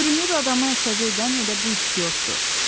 Görünür adamı əsəbi edən elə bu istiotdur.